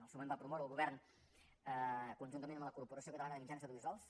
al seu moment va promoure el govern conjuntament amb la corporació catalana de mitjans audiovisuals